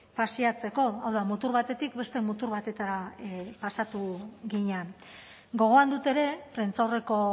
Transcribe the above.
paseatzeko hau da mutur batetik beste mutur batetara pasatu ginen gogoan dut ere prentsaurreko